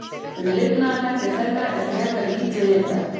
Um lifnaðarhætti þeirra er frekar lítið vitað.